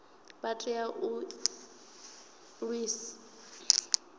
vha tea u ḓi ṅwalisa